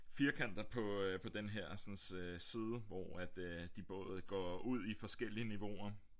Firkanter på øh på den hersens side hvor at de både går ud i forskellige niveauer